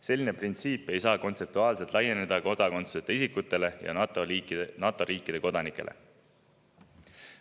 Selline printsiip ei saa kontseptuaalselt laieneda kodakondsuseta isikutele ja NATO riikide kodanikele.